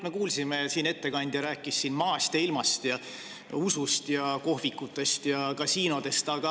Me kuulsime, kui ettekandja rääkis siin maast ja ilmast ja usust ja kohvikutest ja kasiinodest.